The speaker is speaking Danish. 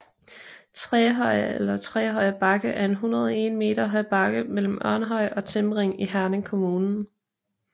Trehøje eller Trehøje Bakke er en 101 m høj bakke mellem Ørnhøj og Timring i Herning Kommune